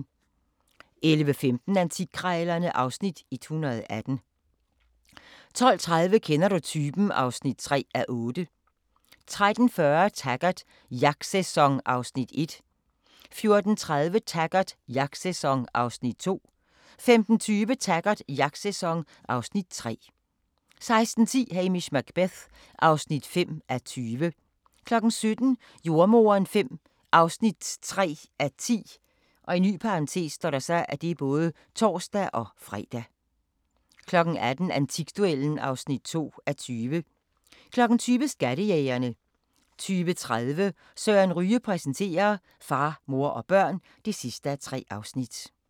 11:15: Antikkrejlerne (Afs. 118) 12:30: Kender du typen? (3:8) 13:40: Taggart: Jagtsæson (Afs. 1) 14:30: Taggart: Jagtsæson (Afs. 2) 15:20: Taggart: Jagtsæson (Afs. 3) 16:10: Hamish Macbeth (5:20) 17:00: Jordemoderen V (3:10)(tor-fre) 18:00: Antikduellen (2:20) 20:00: Skattejægerne 20:30: Søren Ryge præsenterer: Far, mor og børn (3:3)